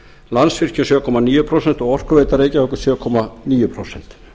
landsvirkjun sjö komma níu prósent og orkuveita reykjavíkur sjö komma níu prósent